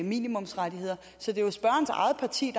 minimumsrettigheder så det er jo spørgerens eget parti